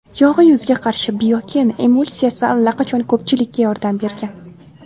Yog‘li yuzga qarshi Biokon Emulsiyasi allaqachon ko‘pchilikga yordam bergan.